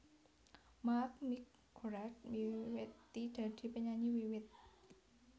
Mark McGrath miwiti dadi penyanyi wiwit